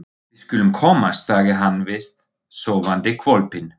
Við skulum komast, sagði hann við sofandi hvolpinn.